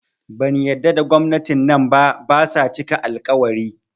Ban yadda da gwamnati nan ba, basa cika al-ƙawari